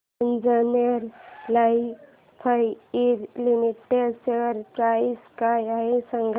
Anjaneya lifecare limited share price काय आहे सांगा